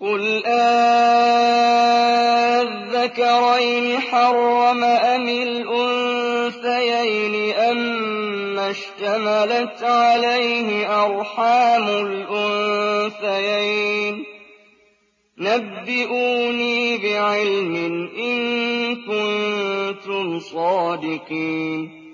قُلْ آلذَّكَرَيْنِ حَرَّمَ أَمِ الْأُنثَيَيْنِ أَمَّا اشْتَمَلَتْ عَلَيْهِ أَرْحَامُ الْأُنثَيَيْنِ ۖ نَبِّئُونِي بِعِلْمٍ إِن كُنتُمْ صَادِقِينَ